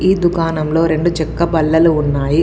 ఈ దుకాణంలో రెండు చెక్క బల్లలు ఉన్నాయి.